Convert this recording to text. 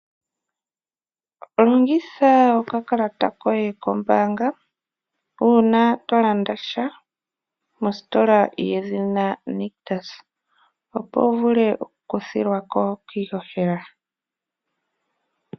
Longitha okakalata koye kombaanga, uuna tolanda sha mositola yedhina Nictus, opo wu vule okukuthilwa ko kiihohela.